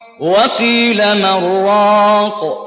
وَقِيلَ مَنْ ۜ رَاقٍ